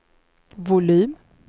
volym